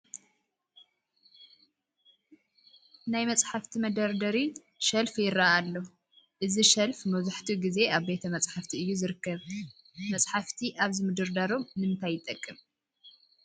ናይ መፃሕፍቲ መደርደሪ ሸልፍ ይርአ ኣሎ፡፡ እዚ ሸልፍ መብዛሕትኡ ግዜ ኣብ ቤተ መፃሕፍቲ እዩ ዝርከ፡፡ መፃሕፍቲ ኣብዚ ምድርዳሮም ንምንታይ ይጠቅም?